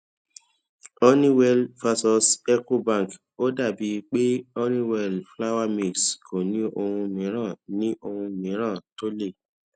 honeywell vs ecobank ó dà bíi pé honeywell flour mills kò ní ohun mìíràn ní ohun mìíràn tó lè